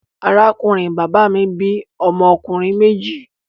Arákùnrin bàbá mi bí ọmọ ọkùnrin méjì.